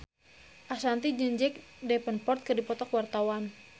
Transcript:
Ashanti jeung Jack Davenport keur dipoto ku wartawan